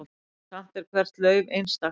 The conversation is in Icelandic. Samt er hvert lauf einstakt.